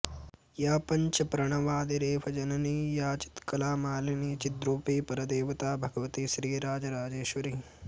या पञ्चप्रणवादिरेफजननी या चित्कला मालिनी चिद्रूपी परदेवता भगवती श्रीराजराजेश्वरी